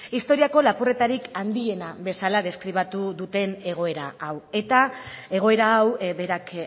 historiako lapurretarik handiena bezala deskribatu duten egoera hau eta egoera hau berak